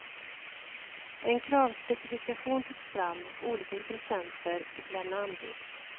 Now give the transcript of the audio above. En kravspecifikation togs fram och olika intressenter fick lämna anbud.